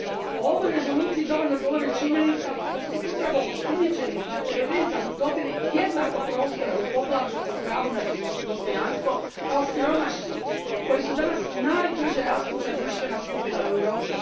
O ovoj Rezoluciji dovoljno govori činjenica da su upravo osumnjičeni za terorizam dobili jednako prostora u poglavlju o pravu na dostojanstvo kao siromašni koji su danas najbrže rastuća društvena skupina u Europi.